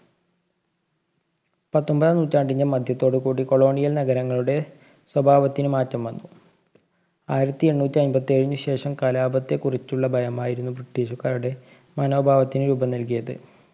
പത്തൊമ്പതാം നൂറ്റാണ്ടിന്‍ടെ മധ്യത്തോടുകൂടി colonial നഗരങ്ങളുടെ സ്വഭാവത്തിനു മാറ്റം വന്നു. ആയിരത്തി എണ്ണൂറ്റി അയ്മ്പത്തേഴിനു ശേഷം കലാപത്തെ കുറിച്ചുള്ള ഭയമായിരുന്നു ബ്രിട്ടീഷുകാരുടെ മനോഭാവത്തിനു രൂപം നല്‍കിയത്.